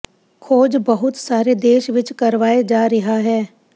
ਖੋਜ ਬਹੁਤ ਸਾਰੇ ਦੇਸ਼ ਵਿੱਚ ਕਰਵਾਏ ਜਾ ਰਿਹਾ ਹੈ